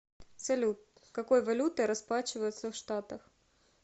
салют какой валютой расплачиваются в штатах